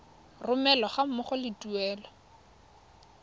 romelwa ga mmogo le tuelo